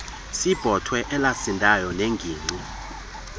sebhotwe elasindayo nengingqi